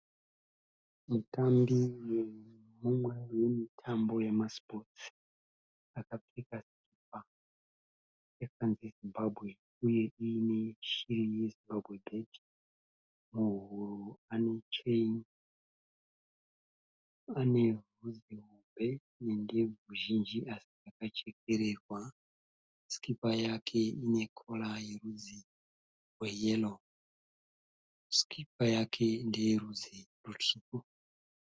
Mutambi mumwe wemitambo yemasipotsi akapfeka sikipa yakanzi Zimbabwe uye iine shiri yeZimbabwe bhedhi. Muhuro anecheni, anebvudzi hombe nendebvu zhinji asi dzakachekererwa. Sikipa yake inekora yerudzi rweyero, sikipa yake ndeyerudzi rutsvuku.